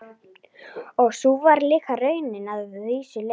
Og sú var líka raunin að vissu leyti.